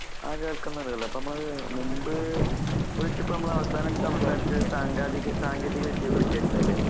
ആ കേൾക്കുന്ന അപ്പമ്മള് മുമ്പ്ഹ് വിളിച്ചമ്മളവസാനം സംസാരിച്ചത് സങ്കാതികെ സാങ്കേതികവിദ്യയെകുറിച്ചാരുന്നല്ലേ?